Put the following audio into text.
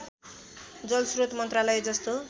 जलस्रोत मन्त्रालय जस्तो